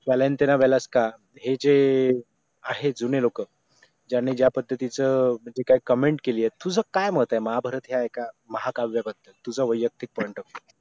हे जे आहेत जुने लोक ज्यांनी ज्या पद्धतीचं जे काय कमेंट केली आहे तुझं काय मत आहे महाभारत या एका महाकाव्य बद्दल तुझं वैयक्तिक point of u